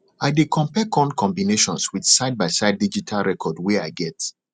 i dey compare corn combinations with sidebyside digital record wey i get